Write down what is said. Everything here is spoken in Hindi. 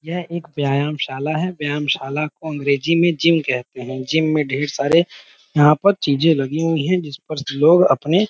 यह एक व्यायामशाला है। व्यायामशाला को अंग्रेज़ी में जिम कहते है ।जिम में ढेर सारे यहाँ पर चीजें लगी हुई हैजिस पर लोग अपने--